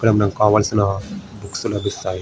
ఎక్కడ మనకి కావాల్సిన లబ్బిస్తాయి.